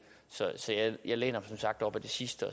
så jeg læner som sagt op ad det sidste